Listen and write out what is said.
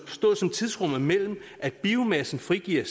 tidsrummet mellem at biomassen frigiver